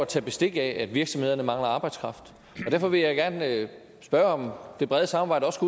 tage bestik af at virksomhederne mangler arbejdskraft derfor vil jeg gerne spørge om det brede samarbejde også